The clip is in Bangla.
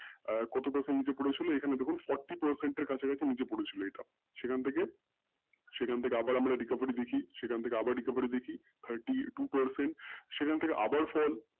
কতটা percent নিচে পড়েছিল এখানে দেখুন forty percent এর দিকে দেখুন নিচে পরে ছিল সেখান থেকে আমরা recovery আবার দেখি সেখান থেকে আবার recovery দেখি thirty percent সেখান থেকে আবার fall